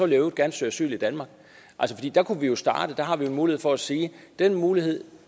i øvrigt gerne søge asyl i danmark der kunne vi jo starte der har vi jo en mulighed for at sige at den mulighed